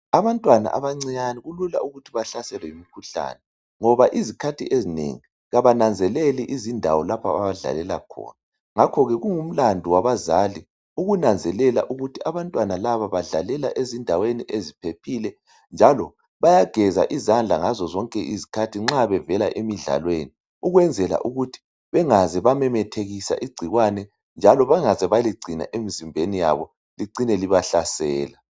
Abantwana abancinyane kulula ukuthi bahlaselwe yimikhuhlane ngoba izikhathi ezinengi abananzeleli indawo lapho abadlalela khona ngakho kungumlandu wabazali ukunanzelela ukuthi abantwana laba badlalela endaweni eziphephile njalo bayageza izandla zonke izikhathi nxa bevela emidlalweni ukwenzela ukuthi bengaze bamenethikisa igcikwane njalo bengaze baligcina emzimbeni yabo licina libahlasela.